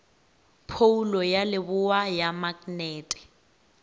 phoulo ya leboa ya maknete